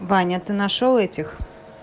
ваня ты нашёл этих